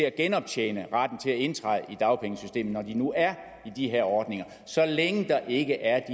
at genoptjene retten til at indtræde i dagpengesystemet når de nu er i de her ordninger så længe der ikke er